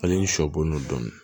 Hali sɔ bolon dɔɔni